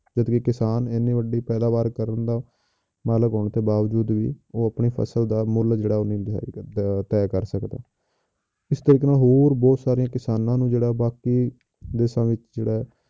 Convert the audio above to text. ਜਦਕਿ ਕਿਸਾਨ ਇੰਨੀ ਵੱਡੀ ਪੈਦਾਵਾਰ ਕਰਨ ਦਾ ਮਾਲਕ ਹੋਣ ਦੇ ਬਾਵਜੂਦ ਵੀ ਉਹ ਆਪਣੀ ਫਸਲ ਦਾ ਮੁੱਲ ਜਿਹੜਾ ਉਹ ਨਹੀਂ ਲਗਾ ਅਹ ਤਹਿ ਕਰ ਸਕਦਾ, ਇਸ ਤਰੀਕੇ ਨਾਲ ਹੋਰ ਬਹੁਤ ਸਾਰੀਆਂ ਕਿਸਾਨਾਂ ਨੂੰ ਜਿਹੜਾ ਬਾਕੀ ਦੇਸਾਂ ਵਿੱਚ ਜਿਹੜਾ ਹੈ,